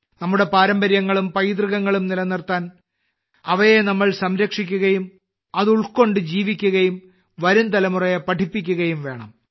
നമ്മുടെ പാരമ്പര്യങ്ങളും പൈതൃകങ്ങളും നിലനിർത്താൻ അവയെ നമ്മൾ സംരക്ഷിക്കുകയും അത് ഉൾക്കൊണ്ട്ജീവിക്കുകയും വരും തലമുറയെ പഠിപ്പിക്കുകയും വേണം